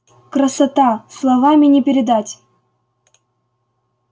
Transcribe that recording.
красота словами не передать